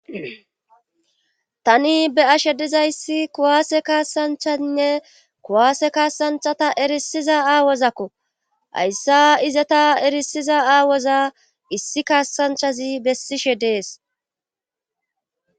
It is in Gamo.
tani be ashe dizayssi kuwaase kaasanchainne kuwaase kaasanchata erisiza aawozakko hayssa izeta erisiza aawoza issi kaasanchazi bessishe dees